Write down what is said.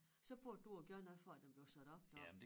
Så burde du jo gerne have fået at den blev sat op deroppe